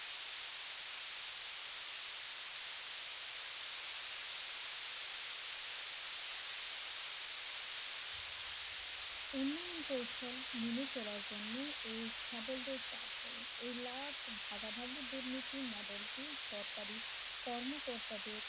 উন্নয়ন কৌশল মেনে চলার জন্য এই ছ্যাবলদের চাপ দেয় এই লাভ ভাগাভাগি দুর্নীতি মডেলটি সরকারি কর্মকর্তাদের